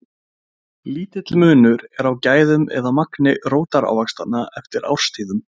Lítill munur er á gæðum eða magni rótarávaxtanna eftir árstíðum.